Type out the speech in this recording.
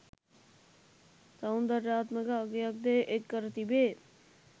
සෞන්දර්යාත්මක අගයක්ද එක් කර තිබේ.